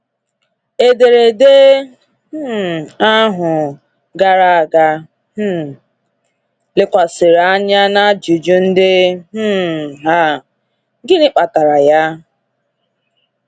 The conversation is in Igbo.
Ederede um ahụ gara aga um lekwasịrị anya na ajụjụ ndị um a: “Gịnị kpatara ya?”